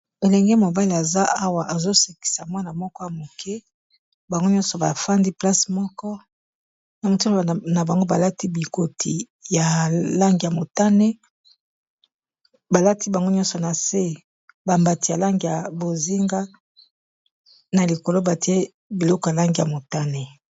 elenge mobale aza awa ezosekisa mwana moko ya moke bango nyonso bafandi place moko na motuno na bango balati bikoti ya lange ya motane balati bango nyonso na se bambati ya lange ya bozinga na likoloba te biloko ya lange ya motane